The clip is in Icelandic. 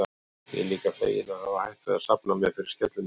Ég er líka feginn að hafa hætt við að safna mér fyrir skellinöðru.